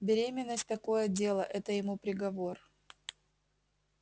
беременность такое дело это ему приговор